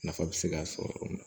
Nafa bɛ se ka sɔrɔ yɔrɔ min na